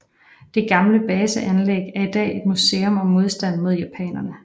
Det gamle baseanlæg er i dag et museum om modstanden mod japanerne